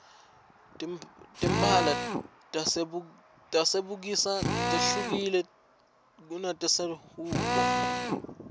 timphala tasebusika tehlukile kunetase hldbo